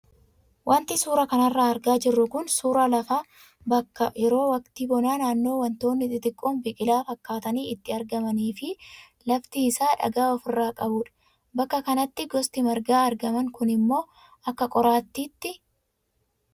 Wanti suuraa kanarraa argaa jirru kun suuraa lafa bakka yeroo waqtii bonaa naannoo wantoonni xixiqoon biqilaa fakkaatan itti argamanii fi lafti isaa dhagaa ofirraa qabudha. Bakka kanatti gosti margaa argaman kunimmoo akka qoraattiiti.